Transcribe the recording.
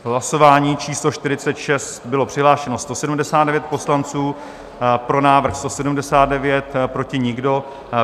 V hlasování číslo 46 bylo přihlášeno 179 poslanců, pro návrh 179, proti nikdo.